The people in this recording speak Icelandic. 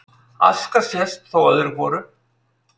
Aska sést þó öðru hvoru